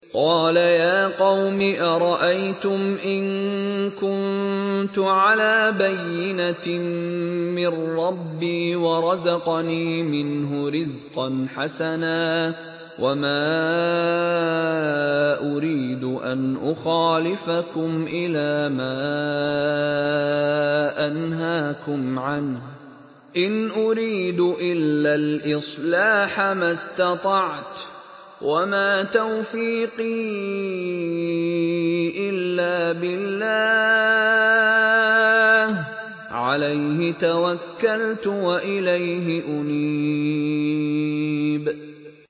قَالَ يَا قَوْمِ أَرَأَيْتُمْ إِن كُنتُ عَلَىٰ بَيِّنَةٍ مِّن رَّبِّي وَرَزَقَنِي مِنْهُ رِزْقًا حَسَنًا ۚ وَمَا أُرِيدُ أَنْ أُخَالِفَكُمْ إِلَىٰ مَا أَنْهَاكُمْ عَنْهُ ۚ إِنْ أُرِيدُ إِلَّا الْإِصْلَاحَ مَا اسْتَطَعْتُ ۚ وَمَا تَوْفِيقِي إِلَّا بِاللَّهِ ۚ عَلَيْهِ تَوَكَّلْتُ وَإِلَيْهِ أُنِيبُ